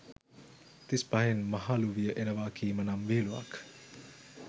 තිස් පහෙන් මහළුවිය එනවා කීම නම් විහිළුවක්.